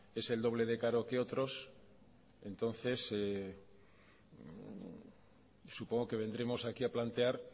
es el doble de caro que otros entonces supongo que vendremos aquí a plantear